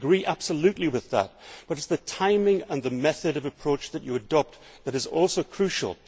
We agree absolutely with that, but it is the timing and method of approach that you adopt which is also crucial.